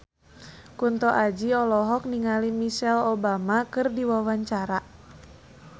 Kunto Aji olohok ningali Michelle Obama keur diwawancara